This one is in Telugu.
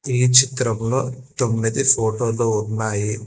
ఈ చిత్రం లో తొమ్మిది ఫోటోలు ఉన్నాయి.